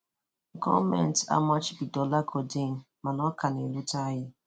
Gọọmentị amachibidola Codeine mana ọ ka na-erute anyị.